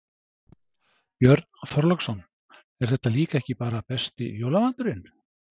Björn Þorláksson: Er þetta líka ekki bara besti jólamaturinn?